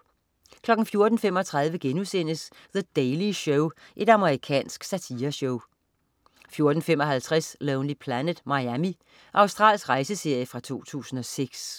14.35 The Daily Show.* Amerikansk satireshow 14.55 Lonely Planet: Miami. Australsk rejseserie fra 2006